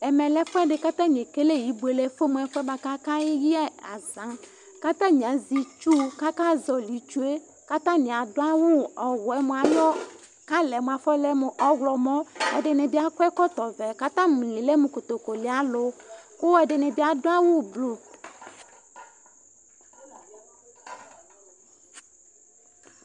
ɛmɛ lɛ ibuele fuɛdɩ, kʊ alʊ kayɛ ɛwi, atanɩ azɛ itsu, kʊ akazolɩ itsu yɛ, atani adʊ awu ɔwɛ, ɛdɩnɩ bɩ akɔ ɛkɔtɔ vɛ, atanɩ ali awusanɩwa, , kʊ ɛdɩnɩ bɩ adʊ awu blu,